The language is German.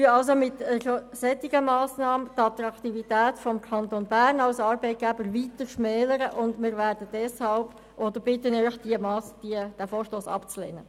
Als wir die Vertrauensarbeitszeit einführten, kam dies sehr gut an.